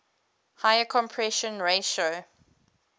higher compression ratio